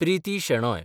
Priti Shenoy